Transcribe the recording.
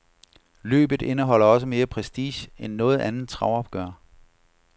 Løbet indeholder også mere prestige end noget andet travopgør.